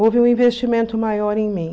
Houve um investimento maior em mim.